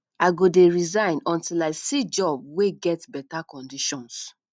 i go dey resign until i see job wey get beta conditions